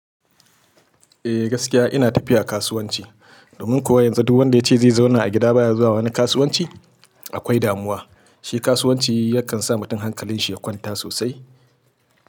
Eh gaskiya ina tafiya kasuwanci, domin kuwa yanzu duk wanda ya ce zai zauna a gida ba ya zuwa wani kasuwanci akwai damuwa. Shi kasuwanci yakan sa mutum hankalin shi ya kwanta sosai.